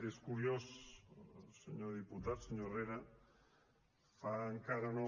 és curiós senyor diputat senyor herrera fa encara no